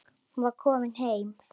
Hún var komin heim.